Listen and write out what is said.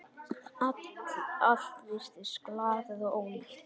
Allt virtist glatað og ónýtt.